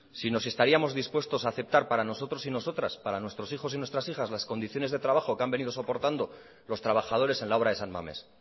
sino si estaríamos dispuestos a aceptar para nosotros y nosotras para nuestros hijos y nuestras hijas las condiciones de trabajo que han venido soportando los trabajadores en la obra de san mamés